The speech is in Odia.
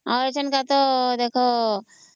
ହମ୍